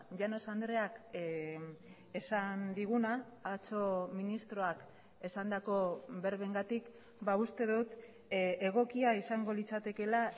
llanos andreak esan diguna atzo ministroak esandako berbengatik uste dut egokia izango litzatekeela